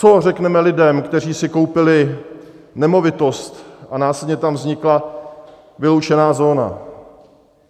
Co řekneme lidem, kteří si koupili nemovitost a následně tam vznikla vyloučená zóna?